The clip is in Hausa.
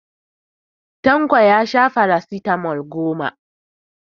Tanko ya sha farasitamol goma.